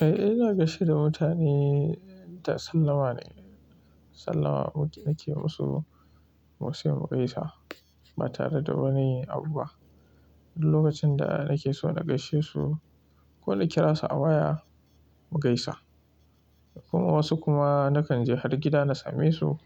Eh, ina gaishe da mutane ta sallama ne. Sallama nake musu, musu mu gaisa ba tare da wani abu ba. Duk lokacin da nake so na gaishe su ko na kira su a waya mu gaisa. Kuma wasu kuma nakan je har gida na same su